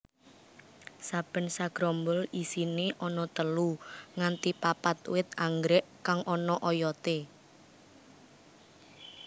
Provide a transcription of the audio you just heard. Saben sagrombol isiné ana telu nganti papat wit anggrèk kang ana oyoté